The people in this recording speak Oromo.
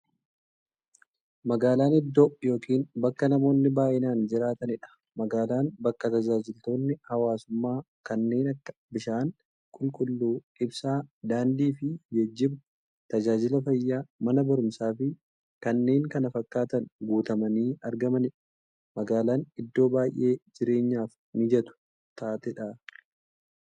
Magaalan iddoo yookiin bakka namoonni baay'inaan jiraataniidha. Magaalan bakka taajajilootni hawwaasummaa kanneen akka; bishaan qulqulluu, ibsaa, daandiifi geejjiba, taajajila fayyaa, Mana baruumsaafi kanneen kana fakkatan guutamanii argamaniidha. Magaalan iddoo baay'ee jireenyaf mijattuu taateedha.